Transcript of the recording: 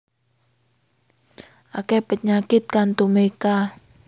Akeh penyakit kang tumeka